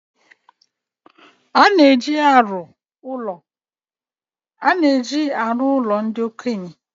Ọ na-eji arụ ụlo ndi okenye